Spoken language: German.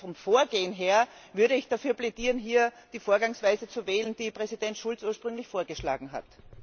Vom Vorgehen her würde ich dafür plädieren, hier die Vorgangsweise zu wählen, die Präsident Schulz ursprünglich vorgeschlagen hat.